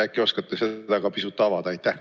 Äkki oskate seda ka pisut avada?